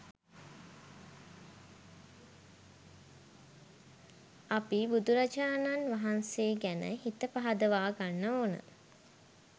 අපි බුදුරජාණන් වහන්සේ ගැන හිත පහදවාගන්න ඕන